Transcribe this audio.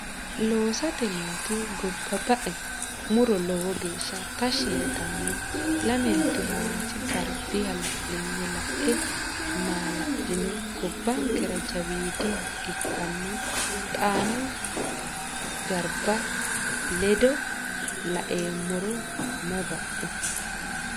lasote nooti gobba ba e mu ro lowo geeshsha tashshi yitanno Lamenti Hawaasi garbi hala linye la e maala lino gobbankera jawiidiha ikkinoha Xaanu Garba lede la oommero may ba u !